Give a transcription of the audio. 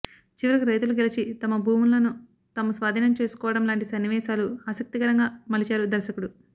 చివరికి రైతులు గెలిచి తమ భూములను తాము స్వాధీనం చేసుకోవడం లాంటి సన్నివేశాలు ఆసక్తికరంగా మలిచారు దర్శకుడు